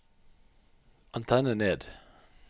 antenne ned